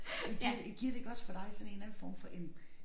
Men giver det giver det ikke også for dig sådan en eller anden form for en